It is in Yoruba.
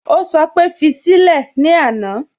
Ó sọ pé "fi sílẹ̀" ní àná